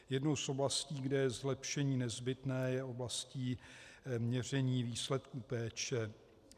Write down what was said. Jednou z oblastí, kde je zlepšení nezbytné, je oblast měření výsledků péče.